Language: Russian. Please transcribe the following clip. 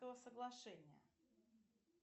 соглашение